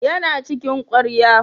Yana cikin ƙwarya.